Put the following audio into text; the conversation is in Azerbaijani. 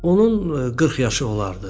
Onun 40 yaşı olardı.